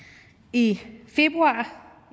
i februar